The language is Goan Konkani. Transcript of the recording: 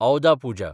औदा पुजा